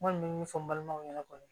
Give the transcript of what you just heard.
N kɔni bɛ min fɔ n balimaw ɲɛna kɔni